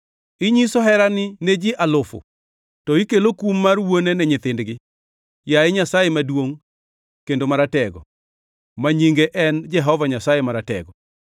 Inyiso herani ne ji alufu to ikelo kum mar wuone ni nyithindgi. Yaye Nyasaye maduongʼ kendo maratego, ma nyinge en Jehova Nyasaye Maratego,